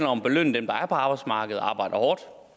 om at belønne dem der er på arbejdsmarkedet og arbejder hårdt